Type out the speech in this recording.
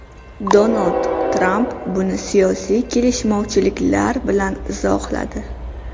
Donald Tramp buni siyosiy kelishmovchiliklar bilan izohladi.